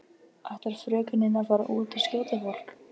Ætlar frökenin að fara út og skjóta fólk?